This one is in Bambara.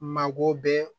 Mago bɛ